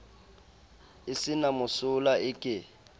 e se na mosola eke